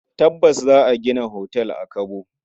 Tabbas! Za a gina otal a Kabo.